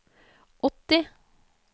åtti